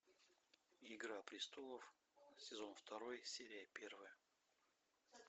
игра престолов сезон второй серия первая